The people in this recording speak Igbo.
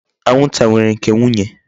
Anwụnta nwere nke nwunye.